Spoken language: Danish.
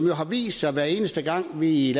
har vist sig at hver eneste gang vi i